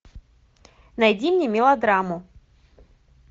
найди мне мелодраму